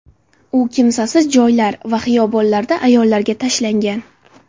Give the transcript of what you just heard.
U kimsasiz joylar va xiyobonlarda ayollarga tashlangan.